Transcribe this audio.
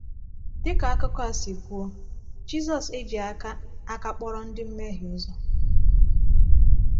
Dị ka akụkọ a si kwuo, Jizọs ejighị aka aka kpọrọ ndị mmehie ụzọ.